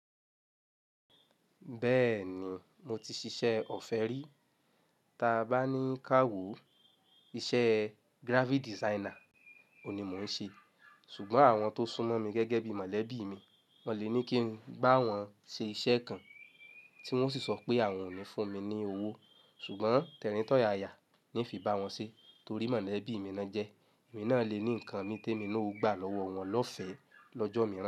Beeni mo ti sise òfé ri. Taa bá ní ká wò, iṣẹ́ graphic designer òní mò ń ṣe. Ṣùgbọ́n àwọn tó súnmọ́ mi gẹ́gẹ́ bí mọ̀lẹ́bí mi, wọ́n le ní kí n bá wọn ṣe iṣẹ́ kan tí wọ́n sì sọ pé àwọn ò ní fún mi ní owó. Ṣùgbọ́n tẹ̀ríntọ̀ yaya ni fi bá wọn ṣe torí mọ̀lẹ́bí mi ni wọ́n jẹ́. Èmi náà lè ní nǹkan ní tèmi ni ó gbà lọ́wọ́ wọn lọ́fẹ̀ẹ́ lọ́jọ́ mìíràn.